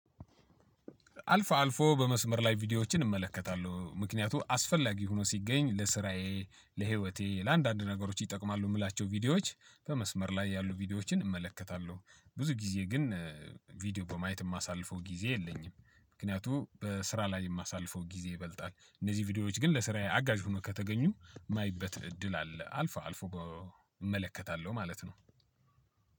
አልፎ አልፎ በመስመር ላይ ቪዲዮዎችን እመለከታለሁ ምክንያቱም አስፈላጊ ሆኖ ሲገኝ ለስራዬ ለህይወቴ ለአንዳንድ ነገሮች ይጠቅማሉ የምላቸው ቪዲዮዎች በመስመር ላይ ያሉ ቪዲዮዎችን እመለከታለሁ። ብዙ ጊዜ ግን ቪዲዮ በማየት የማሳልፈው ጊዜ የለኝም። ምክንያቱም በስራ ላይ የማሳልፈው ጊዜ ይበልጣል። እነዚህ ቪዲዮዎች ግን ለስራዬ አጋዥሆኖ ከተገኙ የማይበት እድል አለ አልፎ አልፎ እመለከታለሁ ማለት ነው።